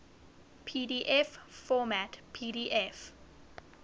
pdf format pdf